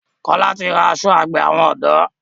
Kola tí rá aṣọ àgbè àwọn odò.